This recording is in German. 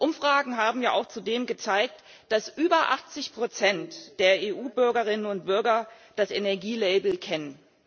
Umfragen haben ja zudem auch gezeigt, dass über 80 der EU Bürgerinnen und Bürger das Energielabel kennen.